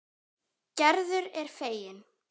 Gerður er fegin.